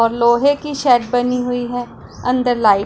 और लोहे की शेड बनी हुई है अंदर लाइट --